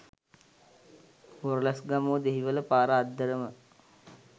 බොරලැස්ගමුව දෙහිවල පාර අද්දරම